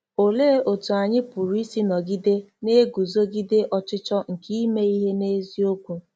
Olee otú anyị pụrụ isi nọgide na-eguzogide ọchịchọ nke ime ihe n'eziokwu?